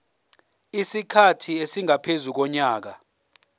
isikhathi esingaphezu konyaka